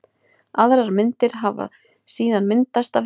Aðrar myndir hafi síðan myndast af henni.